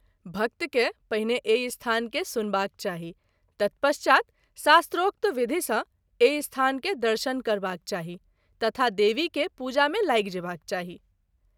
भक्त के पहिने एहि स्थान के सुनबाक चाही, तत्पश्चात् शास्त्रोक्त विधि सँ एहि स्थान के दर्शन करबाक चाही तथा देवी के पूजा मे लागि जेबाक चाही “।